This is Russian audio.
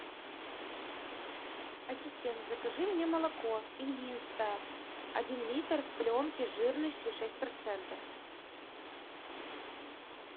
ассистент закажи мне молоко ильинское один литр в пленке жирностью шесть процентов